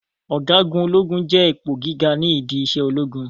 Ọ̀gágun ológun jẹ́ ipò gíga ni ìdí isẹ ológun